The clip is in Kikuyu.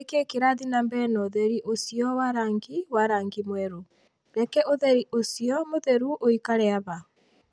Nĩ kĩĩ kĩrathiĩ na mbere na ũtheri ũcio wa rangi wa rangi mwerũ? Reke ũtheri ũcio mũtheru ũikare haha.